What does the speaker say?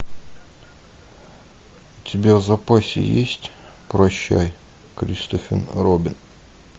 у тебя в запасе есть прощай кристофер робин